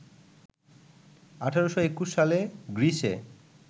১৮২১ সালে গ্রীসে